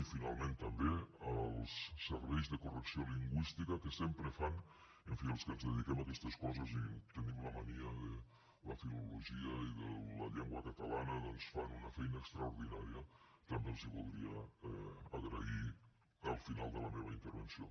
i finalment també als serveis de correcció lingüísti ca que sempre fan en fi els que ens dediquem a aquestes coses i tenim la mania de la filologia i de la llengua catalana doncs una feina extraordinària que també els voldria agrair al final de la meva intervenció